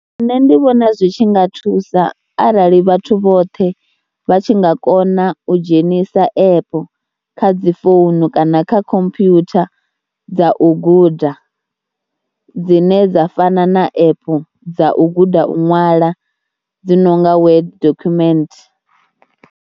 Nṋe ndi vhona zwi tshi nga thusa arali vhathu vhoṱhe vha tshi nga kona u dzhenisa app kha dzi founu kana kha computer dza u guda dzine dza fana na app dza u guda u ṅwala dzi no nga web dokhumenthe.